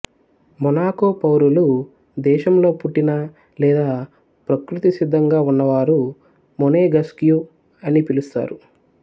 Monaco పౌరులు దేశంలో పుట్టినా లేదా ప్రకృతిసిద్ధంగా ఉన్నవారు మొనేగస్క్యూ అని పిలుస్తారు